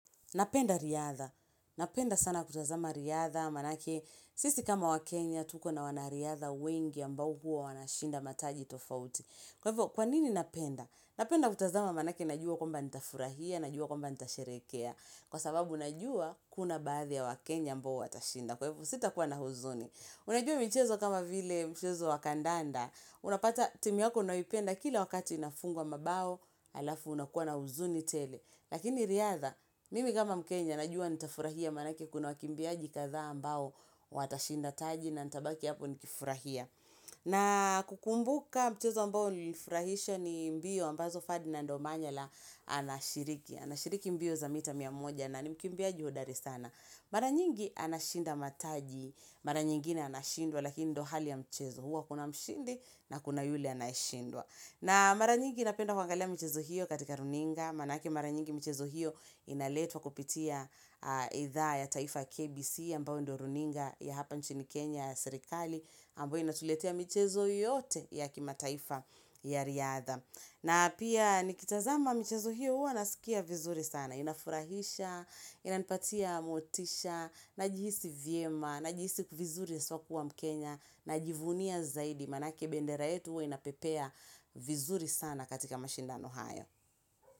Napenda riadha. Napenda sana kutazama riadha. Manake, sisi kama wa Kenya, tuko na wanariadha wengi ambao huwa wanashinda mataji tofauti. Kwa hivyo, kwa nini napenda? Napenda kutazama manake, najua kwamba nitafurahia, najua kwamba nitasherekea. Kwa sababu, najua kuna baadhi ya waKenya ambao watashinda. Kwa hivyo, sitakuwa na huzuni. Unajua michezo kama vile mchezo wakandanda. Unapata timu yako unayoipenda kila wakati inafungwa mabao, alafu unakuwa na huzuni tele. Lakini riadha, mimi kama mkenya, najua nitafurahia manake kuna wakimbiaji kadhaa ambao watashinda taji na nitabaki hapo nikifurahia. Na kukumbuka mchezo ambao ulinifurahisha ni mbio ambazo ferdinad omanyala anashiriki. Anashiriki mbio za mita mia moja na ni mkimbiaji hodari sana. Mara nyingi anashinda mataji, mara nyingine anashindwa, lakini ndio hali ya mchezo huwa kuna mshindi na kuna yule anayeshindwa. Na mara nyingi napenda kuangalia michezo hiyo katika runinga, manake mara nyingi michezo hiyo inaletwa kupitia idhaa ya taifa KBC ambao ndo runinga ya hapa nchini Kenya serikali, ambo inatuletea michezo yote ya kimataifa ya riadha. Na pia nikitazama michezo hiyo huwa nasikia vizuri sana, inafurahisha, inanipatia motisha, najihisi vyema, najihisi vizuri haswa kuwa mkenya, najivunia zaidi, manake bendera yetu huwa inapepea vizuri sana katika mashindano hayo.